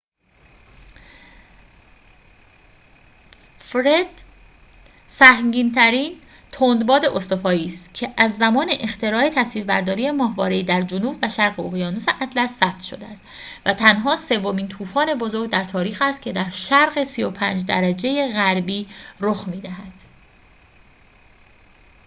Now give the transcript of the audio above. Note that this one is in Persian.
فرِد سهمگین‌ترین تندباد استوایی است که از زمان اختراع تصویربرداری ماهواره‌ای در جنوب و شرق اقیانوس اطلس ثبت شده است و تنها سومین طوفان بزرگ در تاریخ است که در شرق ۳۵ درجه غربی رخ می‌دهد